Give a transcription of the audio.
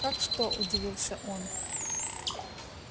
как что удивился он